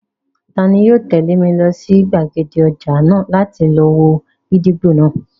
Tani yóò tẹ̀lé mi lọ sí gbàgede ọjà náà láti lọ wo gídígbò náà?